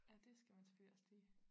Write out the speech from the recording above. Ja det skal man selvfølgelig også lige